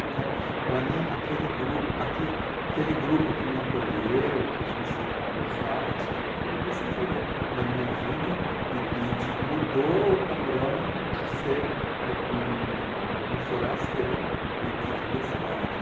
Então, para mim, aquele grupo aque aquele que me acolheu, que a gente conversava, não sei o que, foi decisivo na minha vida e mudou o panorama de ser uma um um forasteiro, né, dentro da cidade.